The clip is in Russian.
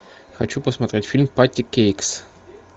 хочу посмотреть фильм патти кейкс